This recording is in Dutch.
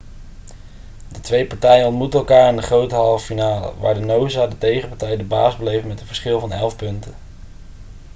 de twee partijen ontmoetten elkaar in de grote halve finale waar noosa de tegenpartij de baas bleef met een verschil van 11 punten